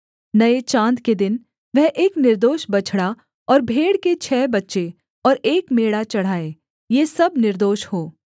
नये चाँद के दिन वह एक निर्दोष बछड़ा और भेड़ के छः बच्चे और एक मेढ़ा चढ़ाए ये सब निर्दोष हों